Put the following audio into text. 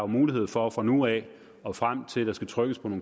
mulighed for fra nu af og frem til at der skal trykkes på